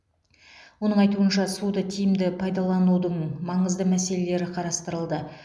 оның айтуынша суды тиімді пайдаланудың маңызды мәселелері қарастырылды